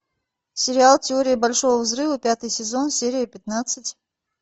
сериал теория большого взрыва пятый сезон серия пятнадцать